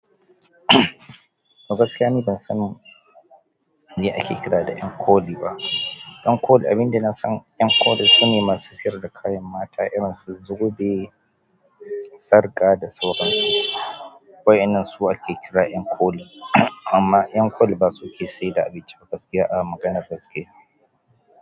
Gaskiya ni ban san me ake kira da ƴan koli ba. Ɗankoli, abun da nasan ƴankoli su ne masu sayar da kayan mata irinsu: zobe, sarƙa da saura. Waɗannan su ake kira ƴankoli. Amma ƴankoli ba su ke sayar da abinci ba gaskiya a maganar gaskiya.